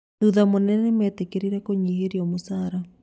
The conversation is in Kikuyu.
Thutha mũnene, nimetekerirĩ kũ nyiherio mũcara